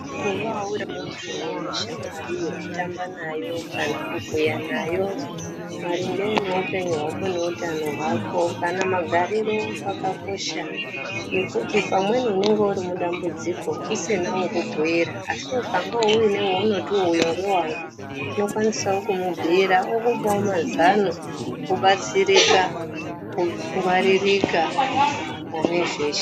Kuvawo uri muntu une shamwari yekutamba nayo, kana kubhuya nayo maringe nehupenyu hwako neutano hwako, kana magariro kwakakosha ngekuti pamweni unenge uri mudambudziko usina wekubhuira ,asi ukangewo une weunotiwo uyo ngewangu unokwanisawo kumubhuira okupawo mazano wobatsirika , wongwaririka pane zveshe